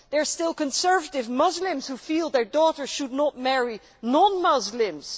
There are still conservative Muslims who feel their daughters should not marry non Muslims.